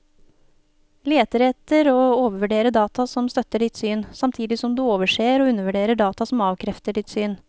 Leter etter og overvurderer data som støtter ditt syn, samtidig som du overser og undervurderer data som avkrefter ditt syn.